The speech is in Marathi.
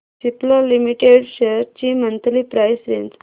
सिप्ला लिमिटेड शेअर्स ची मंथली प्राइस रेंज